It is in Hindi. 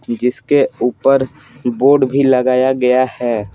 जिसके ऊपर बोर्ड भी लगाया गया है।